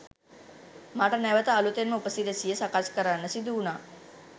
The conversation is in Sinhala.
මට නැවත අලුතෙන්ම උපසිරැසිය සකස් කරන්න සිදු වුනා